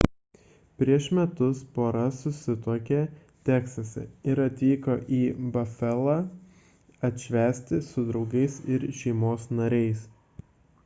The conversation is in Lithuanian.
prieš metus pora susituokė teksase ir atvyko į bafalą atšvęsti su draugais ir šeimos nariais